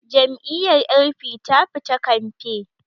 Jam'iyyar L.p ta fita kamfe